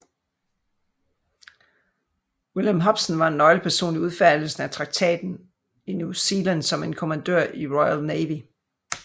William Hobson var en nøgleperson i udfærdigelsen af traktaten var i New Zealand som en kommandør i Royal Navy